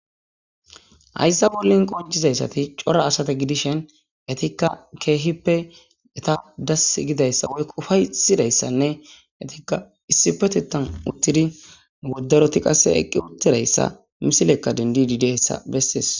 hayssa bollin qonjizayssati cora asata gidishen etikka keehippe eta das gidayssa woyufaysidayssanne etikka issipetittan uttidi woddaroti qasse eqqi uttidayssa misilekka dendidideessa bessees